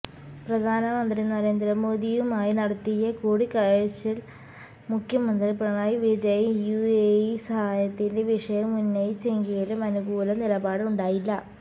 പ്രധാനമന്ത്രി നരേന്ദ്ര മോദിയുമായി നടത്തിയ കൂടിക്കാഴ്ചയില് മുഖ്യമന്ത്രി പിണറായി വിജയൻ യുഎഇ സഹായത്തിന്റെ വിഷയം ഉന്നയിച്ചെങ്കിലും അനുകൂല നിലപാട് ഉണ്ടായില്ല